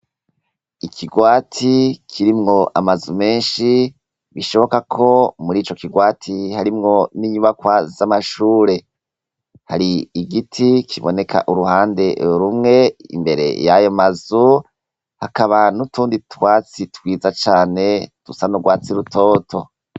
Ikigwati kirimwo amazu menshi bishoboka ko murico kigwati harimwo ninyubakwa zamashure. Hari igiti kiboneka uruhande rumwe, imbere yayo mazu hakaba nutundi twatsi rwiza cane dusa nurwatsi rutoto.